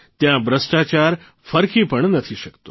ત્યાં ભ્રષ્ટાચાર ફરકી પણ નથી શકતો